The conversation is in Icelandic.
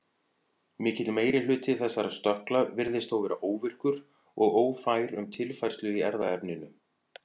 Mikill meiri hluti þessara stökkla virðist þó vera óvirkur og ófær um tilfærslu í erfðaefninu.